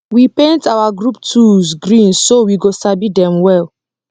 we paint our group tools green so we go sabi dem well